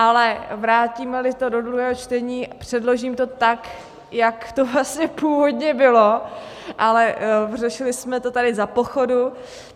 Ale vrátíme-li to druhého čtení, předložím to tak, jak to vlastně původně bylo, ale řešili jsme to tady za pochodu.